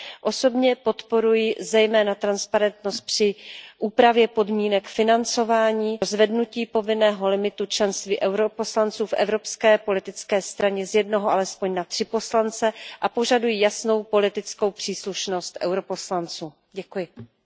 Osobně podporuji zejména transparentnost při úpravě podmínek financování, zvednutí povinného limitu členství poslanců EP v evropské politické straně z jednoho alespoň na tři poslance a požaduji jasnou politickou příslušnost poslanců EP.